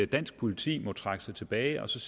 dansk politi må trække sig tilbage og